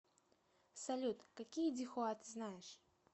салют какие дихуа ты знаешь